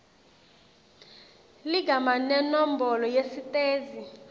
ligama nenombolo yesitezi